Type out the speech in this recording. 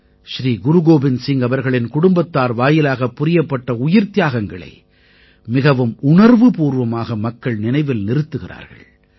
ஸ்ரீ குருகோவிந்த சிங் அவர்களின் குடும்பத்தார் வாயிலாகப் புரியப்பட்ட உயிர்த்தியாகங்களை மிகவும் உணர்வுபூர்வமாக மக்கள் நினைவில் நிறுத்துகிறார்கள்